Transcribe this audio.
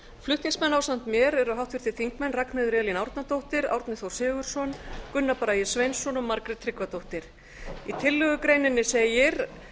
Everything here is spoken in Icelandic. flutningsmenn ásamt mér eru háttvirtir þingmenn ragnheiður e árnadóttir árni þór sigurðsson gunnar bragi sveinsson og margrét tryggvadóttir í tillögugreininni segir